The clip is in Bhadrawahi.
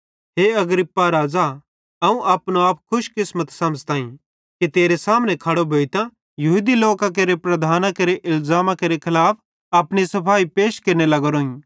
हे Agrippa राज़ा अवं अपनो आप खुश किस्मत समझ़ताईं कि तेरे सामने खड़ो भोइतां यहूदी लोकां केरे प्रधानां केरे इलज़ामा केरे खलाफ अपनी सफ़ाई पैश केरने लगोरोइं